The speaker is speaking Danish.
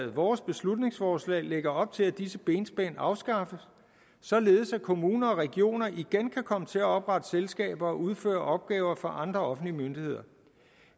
vores beslutningsforslag lægger op til at disse benspænd afskaffes således at kommuner og regioner igen kan komme til at oprette selskaber og udføre opgaver for andre offentlige myndigheder